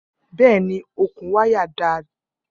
Bẹẹni, okun waya dada.